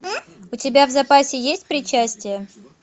у тебя в запасе есть причастие